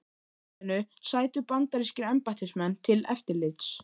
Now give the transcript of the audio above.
Aþenu sætu bandarískir embættismenn til eftirlits.